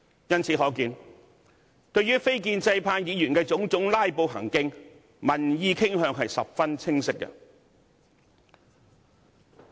由此可見，對於非建制派議員種種"拉布"行徑，民意傾向十分清晰。